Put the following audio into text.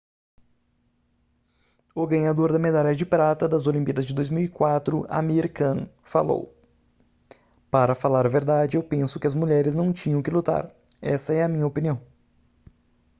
o ganhador da medalha de prata das olimpíadas de 2004 amir khan falou para falar a verdade eu penso que as mulheres não tinham que lutar essa é a minha opinião